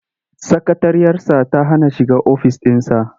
Sakatariyarsa ta hana a shiga ofis ɗinsa.